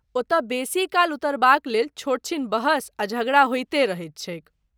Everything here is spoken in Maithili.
ओतय बेसीकाल उतरबाकलेल छोटछीन बहस आ झगड़ा होइते रहैत छैक।